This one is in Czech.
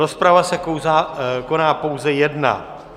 Rozprava se koná pouze jedna.